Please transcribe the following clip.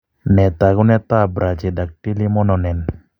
Nee taakunetaab Brachydactyly Mononen?